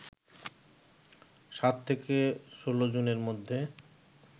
৭ থেকে ১৬ জুনের মধ্যে